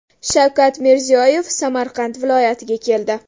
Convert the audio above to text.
Shavkat Mirziyoyev Samarqand viloyatiga keldi.